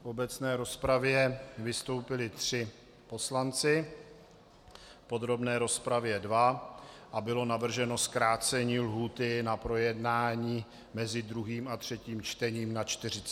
V obecné rozpravě vystoupili tři poslanci, v podrobné rozpravě dva a bylo navrženo zkrácení lhůty na projednání mezi druhým a třetím čtením na 48 hodin.